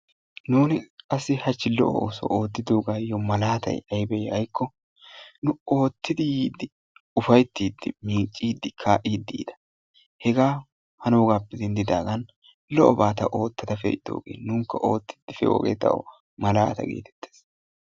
Nuuni qassi hachchi lo"o oosuwa oottiddogaayo malaatay aybee giikko nu oottidi yiidi ufayttidi, miicciidi, kaa'iidi yiida hegaa hanoggappe denddiddagan lo"oba ta oottada pe'iddoogee nunikka oottidi pe'idoogee tawu malaata getteettees.